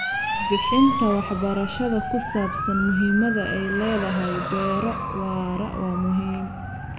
Bixinta waxbarashada ku saabsan muhiimadda ay leedahay beero waara waa muhiim.